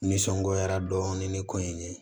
N nisɔngoya dɔɔnin ni ko in ye